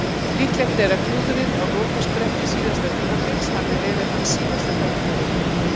Líklegt er að klúðrið á lokaspretti síðasta tímabils hafi verið hans síðasta tækifæri.